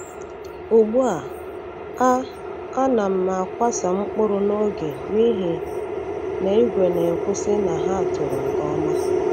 Ugbu a, a a na m akwasa mkpụrụ n’oge n’ihi na igwe na-ekwusi na ha toro nke ọma.